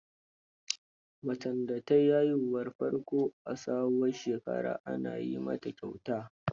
Macen da ta yi haihuwar farko a sabuwar shekara, ana yi mata kyauta.